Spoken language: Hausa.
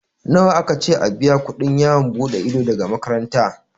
Nawa aka ce a biya kuɗin yawon buɗe ido daga makaranta?